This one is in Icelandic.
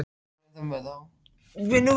Takmarkað fordæmisgildi dómsins